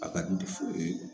A ka di